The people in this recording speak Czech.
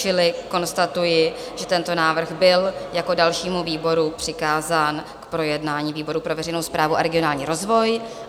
Čili konstatuji, že tento návrh byl jako dalšímu výboru přikázán k projednání výboru pro veřejnou správu a regionální rozvoj.